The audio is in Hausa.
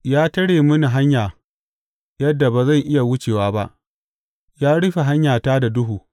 Ya tare mini hanya yadda ba zan iya wucewa ba; ya rufe hanyata da duhu.